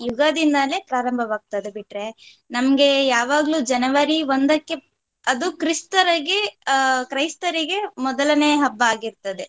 ಯುಗಾದಿಂದಲೇ ಪ್ರಾರಂಭವಾಗ್ತಾದೆ ಬಿಟ್ರೆ ನಮ್ಗೆ ಯಾವಾಗ್ಲು January ಒಂದಕ್ಕೆ ಅದು ಕ್ರಿಸ್ಥರಿಗೆ ಆ ಕ್ರೈಸ್ತರಿಗೆ ಮೊದಲನೇ ಹಬ್ಬ ಆಗಿರ್ತದೆ.